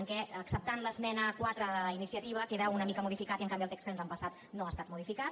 què acceptant l’esmena quatre d’iniciativa queda una mica modificat i en canvi el text que ens han passat no ha estat modificat